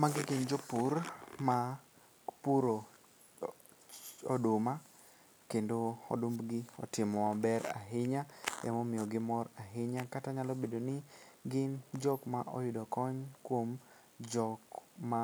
Magi gin jopur ma puro oduma kendo odumbgi otimo maber ahinya emomiyo gimor ahinya kata nyalo bedo ni gin jokma oyudo kony kuom jokma